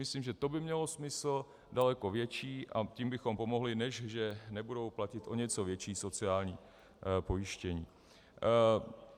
Myslím, že to by mělo smysl daleko větší, a tím bychom pomohli, než že nebudou platit o něco větší sociální pojištění.